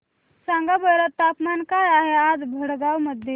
सांगा बरं तापमान काय आहे आज भडगांव मध्ये